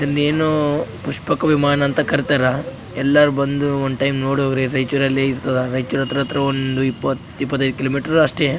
ಇಲ್ಲಿ ಎನೊ ಪುಷ್ಪಕ ವಿಮಾನ ಅಂತ ಕರಿತಾರ ಎಲ್ಲಾರ್ ಬಂದು ಒಂದ್ ಟೈಮ್ ನೋಡ್ ಹೋಗ್ರಿ ರೈಚೂರಲ್ಲಿ ಇರ್ತದ ರೈಚೂರತ್ರ ಅತ್ರ ಒಂದ್ ಇಪ್ಪತ್ ಇಪ್ಪತೈದ್ ಕಿಲೋಮೀಟರ್ ಅಷ್ಟೇ.